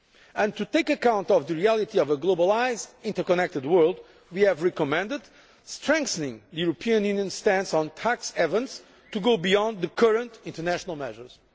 And, to take account of the reality of a globalised interconnected world, we have recommended strengthening the European Union's stance on tax havens to go beyond the current international measures.